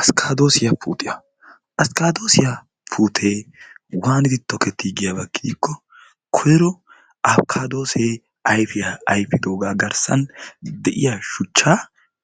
Askaaddosiyaa puutiyaa! askkadoosiya puutee waanidi tokettii giyaaba gidikko koyr5o askaadoosee ayfiyaa ayfidoogaa garsan de'iyaa shuchchaa